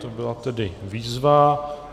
To byla tedy výzva.